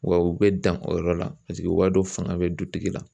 Wa u bɛ dan o yɔrɔ la, paseke u b'a dɔn fanga bɛ dutigi la.